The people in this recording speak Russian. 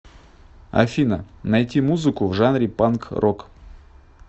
афина найти музыку в жанре панк рок